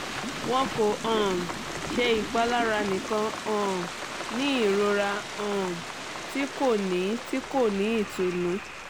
wọn ko um ṣe ipalara nikan um ni irora um ti ko ni ti ko ni itunu